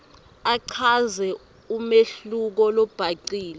achaze umehluko lobhacile